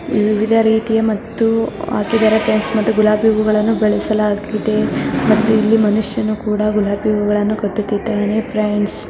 ವಿವಿಧ ರೀತಿಯ ಮತ್ತು ಹಾಕಿದ್ದಾರೆ ಫ್ರೆಂಡ್ಸ್ ಮತ್ತು ಗುಲಾಬಿ ಹೂಗಳನ್ನು ಗಳಿಸಲಾಗಿದೆ ಮತ್ತು ಇಲ್ಲಿ ಮನುಷ್ಯನು ಕೂಡ ಗುಲಾಬಿ ಹೂಗಳನ್ನು ಕಟ್ಟುತ್ತಿದ್ದಾನೆ ಫ್ರೆಂಡ್ಸ್ ..